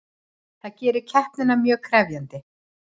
Það gerir keppnina mjög krefjandi